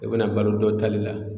I bɛna balo dɔ tali la